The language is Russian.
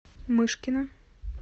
мышкина